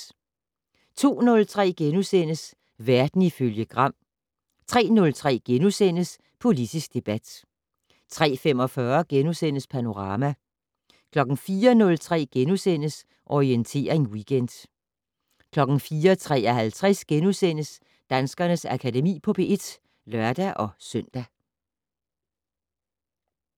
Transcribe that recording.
02:03: Verden ifølge Gram * 03:03: Politisk debat * 03:45: Panorama * 04:03: Orientering Weekend * 04:53: Danskernes Akademi på P1 *(lør-søn)